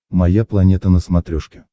моя планета на смотрешке